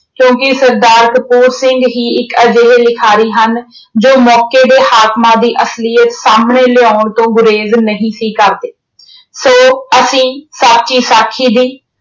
ਕਿਉਂਕਿ ਸਰਦਾਰ ਕਪੂਰ ਸਿੰਘ ਹੀ ਇੱਕ ਅਜਿਹੇ ਲਿਖਾਰੀ ਹਨ ਜੋ ਮੌਕੇ ਦੇ ਹਾਕਮਾਂ ਦੀ ਅਸਲੀਅਤ ਸਾਹਮਣੇ ਲਿਆਉਣ ਤੋਂ ਗੁਰੇਜ਼ ਨਹੀਂ ਸੀ ਕਰਦੇ। ਸੋ ਅਸੀਂ ਸਾਚੀ ਸਾਖੀ ਦੀ